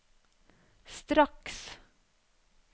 straks